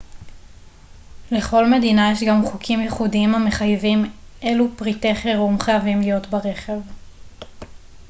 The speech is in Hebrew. לכל מדינה יש גם חוקים ייחודיים המחייבים אילו פריטי חירום חייבים להיות ברכב